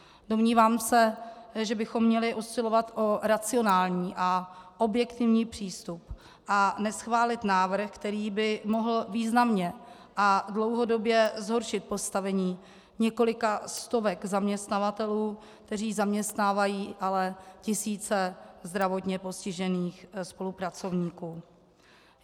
Domnívám se, že bychom měli usilovat o racionální a objektivní přístup a neschválit návrh, který by mohl významně a dlouhodobě zhoršit postavení několika stovek zaměstnavatelů, kteří zaměstnávají ale tisíce zdravotně postižených spolupracovníků.